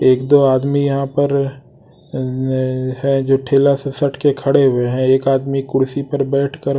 एक दो आदमी यहां पर अ है जो ठेला से सट सटके खड़े हुए हैं एक आदमी कुर्सी पर बैठकर--